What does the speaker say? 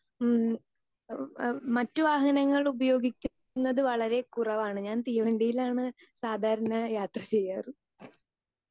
speaker 2 ഉം ഏഹ് ഏഹ് മറ്റു വാഹനങ്ങൾ ഉപയോഗിക്കുന്നത് വളരെ കുറവാണ് ഞാൻ തീവണ്ടിയിലാണ് സാധാരണ യാത്ര ചെയ്യാറ്